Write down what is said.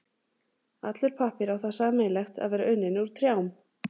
Allur pappír á það sameiginlegt að vera unninn úr trjám.